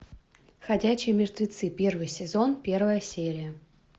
ходячие мертвецы первый сезон первая серия